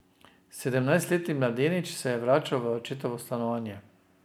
Sedemnajstletni mladenič se je vračal v očetovo stanovanje.